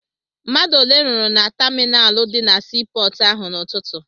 Mmadụ ole rụrụ na taminalụ dị na sii pọọtụ ahụ n'ụtụtụ?